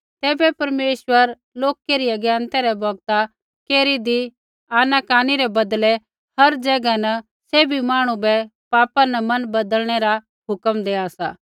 ऐबै परमेश्वर लोका री अज्ञानतै रै बौगता केरीदी आनाकानी रै बदलै हर ज़ैगा न सैभी मांहणु बै पापा न मन बदलनै रा हुक्म देआ सा